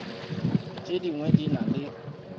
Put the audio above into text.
tše dingwe di na le